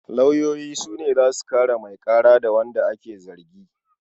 Lauyoyi su ne za su kare mai ƙara da wanda ake zargi.